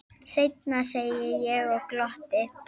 Seinna, segi ég og glotti.